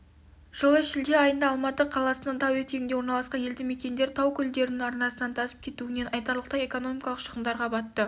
жылы шілде айында алматы қаласының тау етегінде орналасқан елді-мекендер тау көлдерінің арнасынан тасып кетуінен айтарлықтай экономикалық шығындарға батты